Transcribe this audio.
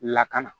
Lakana